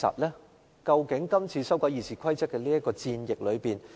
但是，今次修改《議事規則》是否如此呢？